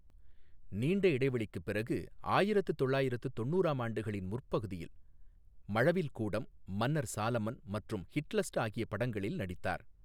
நீண்ட இடைவெளிக்குப் பிறகு, ஆயிரத்து தொள்ளாயிரத்து தொண்ணுறாம் ஆண்டுகளின் முற்பகுதியில் மழவில்கூடம், மன்னர் சாலமன் மற்றும் ஹிட்லஸ்ட் ஆகிய படங்களில் நடித்தார்.